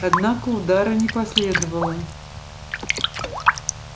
однако удара не последовало